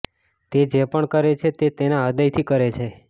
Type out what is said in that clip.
તે જે પણ કરે છે તે તેના હૃદયથી કરે છે